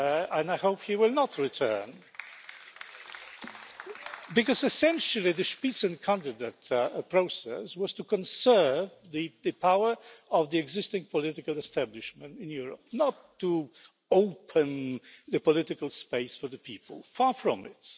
And I hope he will not return, because essentially the Spitzenkandidat process was to conserve the power of the existing political establishment in Europe, not to open the political space for the people. Far from it.